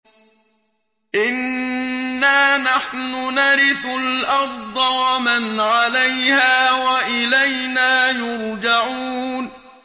إِنَّا نَحْنُ نَرِثُ الْأَرْضَ وَمَنْ عَلَيْهَا وَإِلَيْنَا يُرْجَعُونَ